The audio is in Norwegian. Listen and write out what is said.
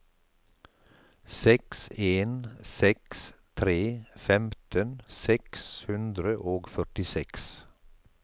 seks en seks tre femten seks hundre og førtiseks